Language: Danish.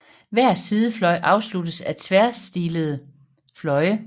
Hver sidefløj afsluttes af tværstillede fløje